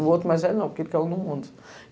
O outro mais velho não, porque ele caiu no mundo.